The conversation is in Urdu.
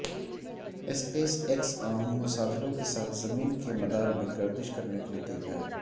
اسپیس ایکس عام مسافروں کے ساتھ زمین کے مدار میں گردش کرنے کے لیے تیار